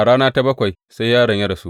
A rana ta bakwai sai yaron ya rasu.